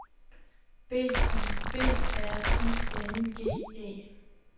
B I B R I N G E